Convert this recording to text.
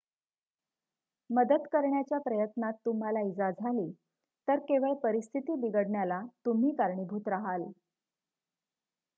मदत करण्याच्या प्रयत्नात तुम्हाला इजा झाली तर केवळ परिस्थिती बिघडण्याला तुम्ही कारणीभूत राहाल